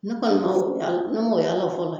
Ne kɔni m'o y'ala ne m'o y'ala fɔlɔ